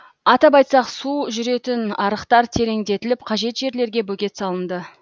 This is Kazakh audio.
атап айтсақ су жүретін арықтар тереңдетіліп қажет жерлерге бөгет салынды